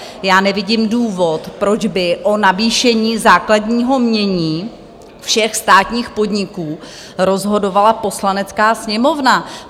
Já nevidím důvod, proč by o navýšení základního jmění všech státních podniků rozhodovala Poslanecká sněmovna.